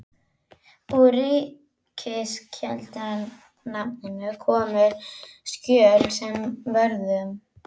Úr Ríkisskjalasafninu komu skjöl sem vörðuðu